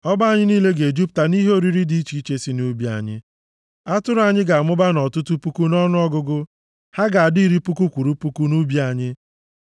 Ọba anyị niile ga-ejupụta nʼihe oriri dị iche iche si nʼubi anyị. Atụrụ anyị ga-amụba nʼọtụtụ puku nʼọnụọgụgụ, ha ga-adị iri puku kwụrụ puku nʼubi anyị;